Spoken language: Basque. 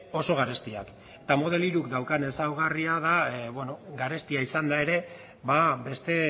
oso garestiak eta model hiruk daukan ezaugarria da garestia izanda ere beste